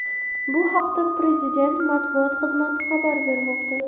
Bu haqda Prezidenti matbuot xizmati xabar bermoqda .